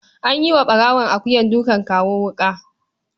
An yi wa ɓarawon akuyar dukan kawo wuƙa.